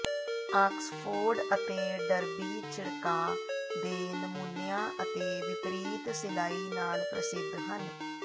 Oxford ਅਤੇ Derby ਛਿੜਕਾਅ ਦੇ ਨਮੂਨਿਆਂ ਅਤੇ ਵਿਪਰੀਤ ਸਿਲਾਈ ਨਾਲ ਪ੍ਰਸਿੱਧ ਹਨ